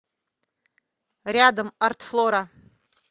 рядом артфлора